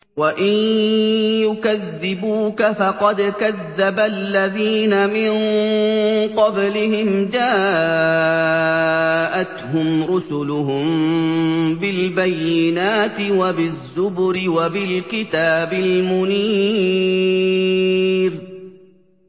وَإِن يُكَذِّبُوكَ فَقَدْ كَذَّبَ الَّذِينَ مِن قَبْلِهِمْ جَاءَتْهُمْ رُسُلُهُم بِالْبَيِّنَاتِ وَبِالزُّبُرِ وَبِالْكِتَابِ الْمُنِيرِ